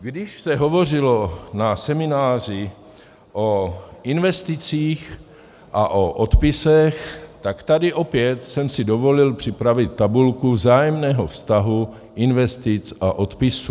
Když se hovořilo na semináři o investicích a o odpisech, tak tady opět jsem si dovolil připravit tabulku vzájemného vztahu investic a odpisů.